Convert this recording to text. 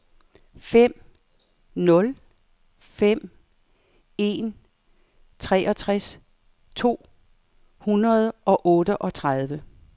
fem nul fem en treogtres to hundrede og otteogtredive